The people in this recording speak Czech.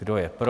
Kdo je pro?